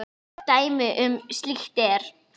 Dæmi um slíkt er